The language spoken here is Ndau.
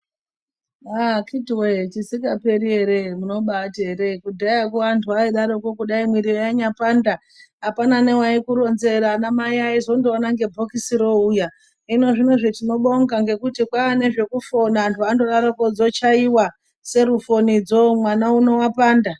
Akiti woye chisingaperi ere munobati ere kudhayako antu aidaroko kudai mwiri yanyapanda apana newaikuronzera anamai aindozoona nebhokisi roouya hino zvinozvi tinobonga ngekuti kwaane nezvekufona anhu andodarokwo dzochaiwa serofinodzo mwana uno wapanda.